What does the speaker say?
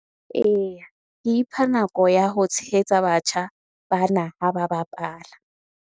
Eya, ke ipha nako ya ho tshehetsa batjha bana ha ba bapala.